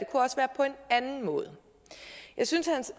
anden måde jeg synes hans